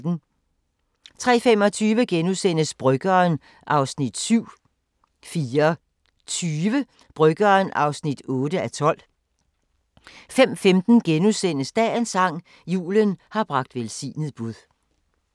03:25: Bryggeren (7:12)* 04:20: Bryggeren (8:12) 05:15: Dagens sang: Julen har bragt velsignet bud *